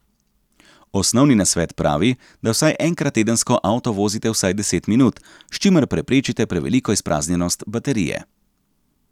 Osnovni nasvet pravi, da vsaj enkrat tedensko avto vozite vsaj deset minut, s čimer preprečite preveliko izpraznjenost baterije.